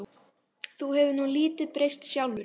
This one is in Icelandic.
Þú hefur nú lítið breyst sjálfur.